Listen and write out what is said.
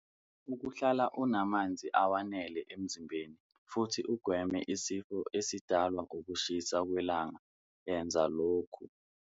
Ukuhlala unamanzi awenele emzimbeni futhi ugweme isifo esidalwa ukushisa kwelanga yenza lokhu-